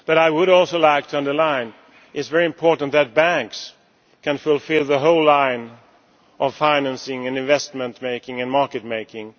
But I would also like to underline that it is very important that banks can fulfil the whole line of financing and investment making and market making.